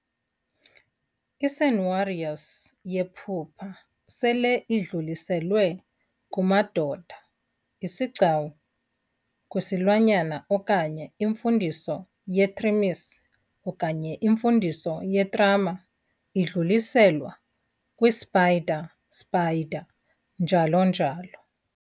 I-SENWARORS yephupha sele idluliselwe kumadoda, isigcawu, kwisilwanyana okanye iMfundiso yeThrimisi okanye iMfundiso yeTrama idluliselwa kwi-Spider Spider, njalo njalo.